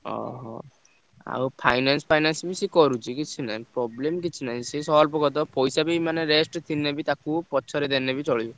ହଉ ହଉ। ଆଉ finance finance ବି ସେ କରୁଚି କିଛି ନାହିଁ। problem କିଛି ନାହିଁ ସେ solve କରିଦବ। ପଇସା ବି ମାନେ rest ଥିଲେ ବି ତାକୁ ପଛରେ ଦେଲେ ବି ଚଳିବ।